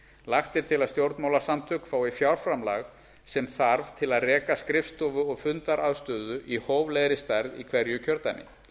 lagt er til að stjórnmálasamtök fái fjárframlag sem þarf til að reka skrifstofu og fundaraðstöðu í hóflegri stærð í hverju kjördæmi